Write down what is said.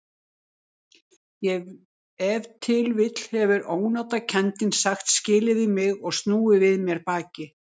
Ef til vill hefur ónotakenndin sagt skilið við mig og snúið við mér baki.